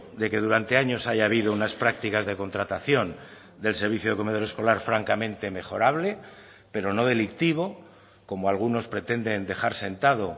de que durante años haya habido unas prácticas de contratación del servicio de comedor escolar francamente mejorable pero no delictivo como algunos pretenden dejar sentado